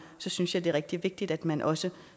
synes jeg det er rigtig vigtigt at man også